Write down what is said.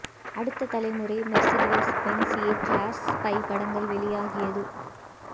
அடுத்த தலைமுறை Mercedes Benz A class spy படங்கள் வெளியாகியது